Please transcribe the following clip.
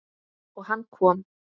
Og hann kom.